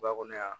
Ba kɔnɔ yan